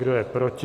Kdo je proti?